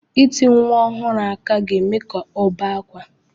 Ịti nwa ọhụrụ aka ga-eme ka ọ bee ákwá.